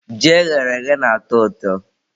Ji eghere eghe na-atọ ụtọ.